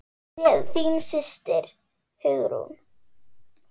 Kveðja, þín systir, Hugrún.